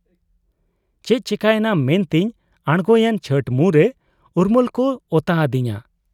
ᱪᱮᱫ ᱪᱤᱠᱟᱹᱭᱮᱱᱟ ᱢᱮᱱᱛᱮᱧ ᱟᱸᱬᱜᱚᱭᱮᱱ ᱪᱷᱚᱴ ᱢᱩᱸᱨᱮ ᱩᱨᱢᱟᱹᱞᱠᱚ ᱚᱛᱟ ᱦᱟᱹᱫᱤᱧᱟ ᱾